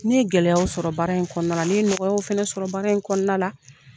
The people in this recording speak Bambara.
Ni ye gɛlɛyaw sɔrɔ baara in kɔnɔna na, ne nɔgɔyaw fɛnɛ sɔrɔ baara in kɔnɔna la.